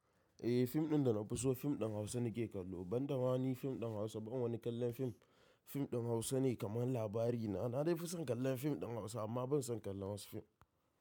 Eh fim ɗin da na fi so fim ɗin Hausa nake kallo. Ban dama ba ni fim ɗin Hausa, ban wani kallon fim. Fim ɗin Hausa ne kamar labarina. Na dai fi son kallon fim ɗin Hausa amma ban son kallon wasu fim.